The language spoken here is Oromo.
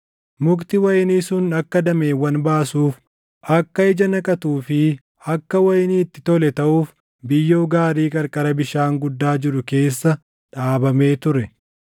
Mukti wayinii sun akka dameewwan baasuuf, akka ija naqatuu fi akka wayinii itti tole taʼuuf biyyoo gaarii qarqara bishaan guddaa jiru keessa dhaabamee ture.’